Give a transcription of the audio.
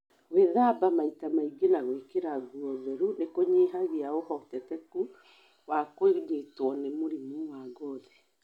Gwĩthaba maita maingĩ na gũikĩra nguo theru nĩ kũnyihagia ũhotekeku wa kũnyitwo nĩ mũrimũ wa ngothi